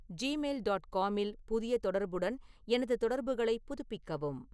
Gmail dot காமில் புதிய தொடர்புடன் எனது தொடர்புகளைப் புதுப்பிக்கவும்